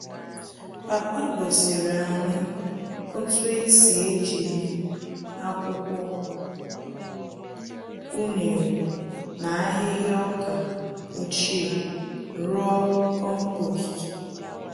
Papa gosiri anyị otú esi ejiri akwụkwọ unere na ahịhịa ọkà ochie, rụọ kompost